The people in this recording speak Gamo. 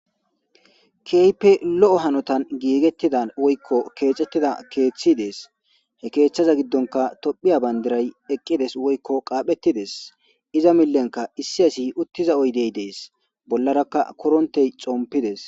keype lo7o hanotan giigettida woykko keexettida keeththi dees he keeththaza giddonka tophiya bandiray eqqides woykko qaaphettides iza millenka issi asi uttiza oydey dees bollarakka korontey xompides